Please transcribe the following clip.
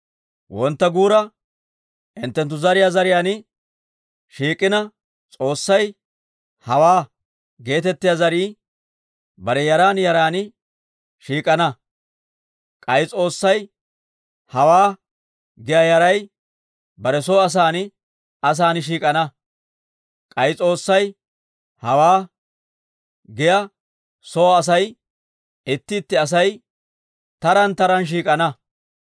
Wontta guura, hinttenttu zariyaan zariyaan shiik'ina S'oossay, «Hawaa» geetettiyaa zarii, bare yaran yaran shiik'ana; k'ay S'oossay, «Hawaa» giyaa yaray bare soo asan asan shiik'ana; k'ay S'oossay, «Hawaa» giyaa soo Asay itti itti Asay taraan taraan shiik'ana.